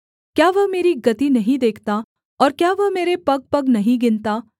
क्या वह मेरी गति नहीं देखता और क्या वह मेरे पगपग नहीं गिनता